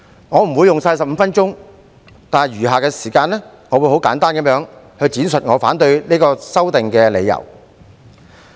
我不會用盡15分鐘的發言時間，在以下的時間，我會很簡單地闡述我反對《條例草案》的理由。